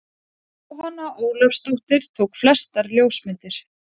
Jóhanna Ólafsdóttir tók flestar ljósmyndir.